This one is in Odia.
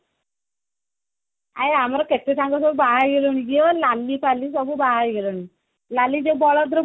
ଆଉ ଆମର କେତେସାଙ୍ଗ ସବୁ ବାହା ହେଇ ଗଲେଣି ଯିଏ ଲାଲୀ ଫାଳୀ ସବୁ ବାହାହେଇ ଗଲେଣି ଲାଲୀ ଯୋଉ ବଳଦ